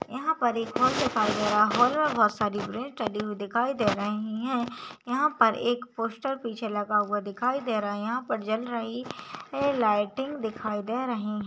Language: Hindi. यहाँ पर एक हॉल दिखाई दे रहा है हॉल मे बहुत सारी हुई दिखाई दे रही है यहाँ पर एक पोस्टर पीछे लगा हुआ दिखाई दे रहा है यहाँ पर जल रही ए लाइटिंग दिखाई दे रही है।